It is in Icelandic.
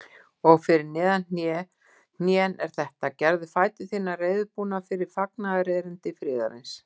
Og fyrir neðan hnén er þetta: Gerðu fætur þína reiðubúna fyrir fagnaðarerindi friðarins.